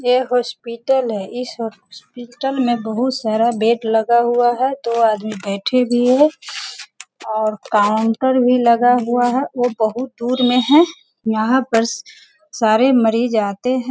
ये हॉस्पिटल है इस हॉस्पिटल में बहुत सारा बेड लगा हुआ है दो आदमी बैठे भी हैं और काउंटर भी लगा हुआ है वो बहुत दूर में हैं यहाँ पर सारे मरीज आते हैं।